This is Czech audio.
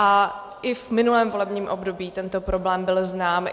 A i v minulém volebním období tento problém byl znám.